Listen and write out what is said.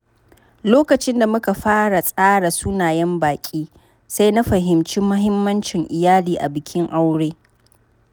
Lokacin da muka fara tsara sunayen baƙi, sai na fahimci mahimmancin iyali a bikin aure.